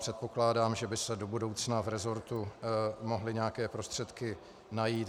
Předpokládám, že by se do budoucna v resortu mohly nějaké prostředky najít.